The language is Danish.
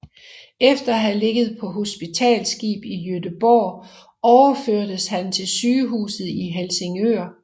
Efter at have ligget på hospitalsskib i Göteborg overførtes han til sygehuset i Helsingør